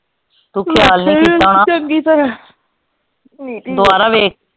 ਤੂੰ ਖਿਆਲ ਨਹੀਂ ਕੀਤਾ ਹੋਣਾ ਦੁਬਾਰਾ ਵੇਖ।